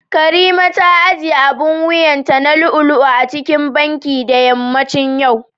karimat ta ajiye abin wuyanta na lu'u-lu'u cikin Banki da yammacin yau